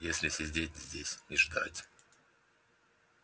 если сидеть здесь и ждать